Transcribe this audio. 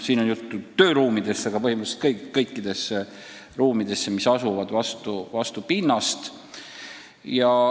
Siin on juttu tööruumidest, aga põhimõtteliselt võib see pääseda kõikidesse ruumidesse, mis asuvad vastu pinnast.